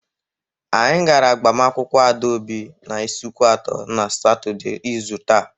Anyị gara agbamakwụkwọ Adaobi n'Ịsụkwatọ na Satọday. izu taa.